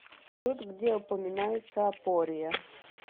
салют где упоминается апория